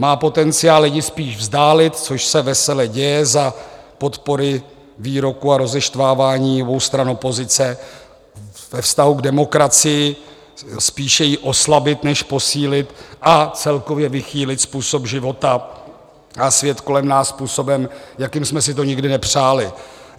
Má potenciál lidi spíše vzdálit, což se vesele děje za podpory výroků a rozeštvávání obou stran opozice ve vztahu k demokracii, spíše ji oslabit než posílit a celkově vychýlit způsob života a svět kolem nás způsobem, jakým jsme si to nikdy nepřáli.